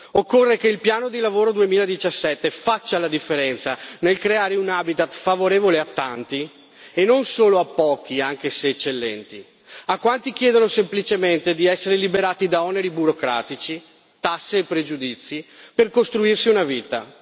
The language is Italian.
occorre che il piano di lavoro 2017 faccia la differenza nel creare un habitat favorevole a tanti e non solo a pochi, anche se eccellenti, a quanti chiedono semplicemente di essere liberati da oneri burocratici, tasse e pregiudizi per costruirsi una vita.